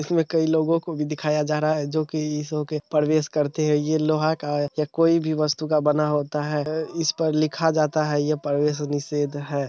इसमें कई लोगों को भी दिखाया जा रहा है जो कि इस ओर होके प्रवेश करते है ये लोहा का या कोई भी वस्तु का बना होता है इस पर लिखा जाता है यह प्रवेश निषेध है ।